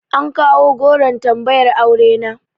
An kawo goron tambayar aure na.